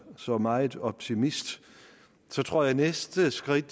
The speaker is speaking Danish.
så meget optimist så tror jeg at næste skridt